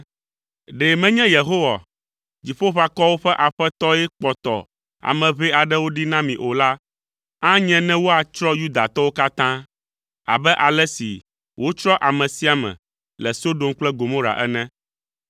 Ɖe menye Yehowa, Dziƒoʋakɔwo ƒe Aƒetɔ ye kpɔtɔ ame ʋɛ aɖewo ɖi na mi o la, anye ne woatsrɔ̃ Yudatɔwo katã, abe ale si wotsrɔ̃ ame sia ame le Sodom kple Gomora ene.